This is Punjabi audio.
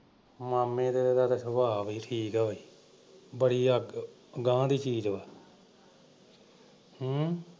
ਮਾਮੇ ਤੇਰੇ ਦਾ ਤਾਂ ਸੁਭਾਅ ਵੀ ਠੀਕ ਏ ਬਈ ਬੜੀ ਆਕੜ। ਅਗਾਂਹ ਦੀ ਚੀਜ਼ ਏ ਹਮ